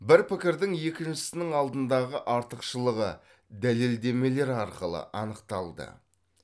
бір пікірдің екіншісінің алдындағы артықшылығы дәлеледемелер арқылы анықталды